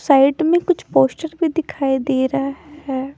Side में कुछ poster भी दिखाई दे रहा है।